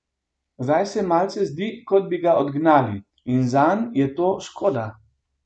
Zdaj se malce zdi, kot bi ga odgnali, in zanj je to škoda.